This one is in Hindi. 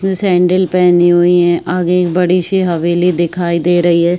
सेंडिल पहनी हुई है है। आगे एक बड़ी सी हवेली दिखाई दे रही है।